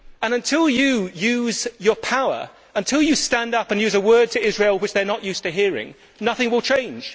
And until you use your power, until you stand up and use a word to Israel which they are not used to hearing, nothing will change.